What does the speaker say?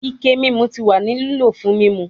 Ike mimu ti wa ni lilo fun mimu